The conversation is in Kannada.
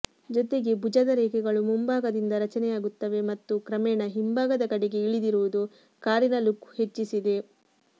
ಜೊತೆಗೆ ಭುಜದ ರೇಖೆಗಳು ಮುಂಭಾಗದಿಂದ ರಚನೆಯಾಗುತ್ತವೆ ಮತ್ತು ಕ್ರಮೇಣ ಹಿಂಭಾಗದ ಕಡೆಗೆ ಇಳಿದಿರುವುದು ಕಾರಿನ ಲುಕ್ ಹೆಚ್ಚಿಸಿದೆ